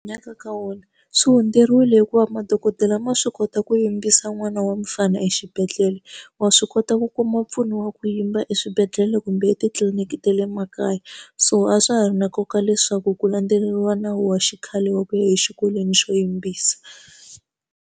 Hanyaka ka wona swi hundzeriwile hikuva madokodela ma swi kota ku yimbisa n'wana wa mfana exibedhlele wa swi kota ku kuma mpfuno wa ku yimba eswibedhlele kumbe etitliliniki ta le makaya so a swa ha ri na nkoka leswaku ku landzeriwa nawu wa xikhale wa ku ya exikolweni xo yimbisa.